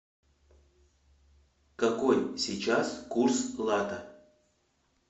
какой сейчас курс лата